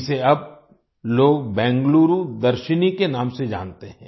इसे अब लोग बेंगलुरु दर्शिनी के नाम से जानते हैं